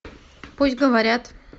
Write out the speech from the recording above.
пусть говорят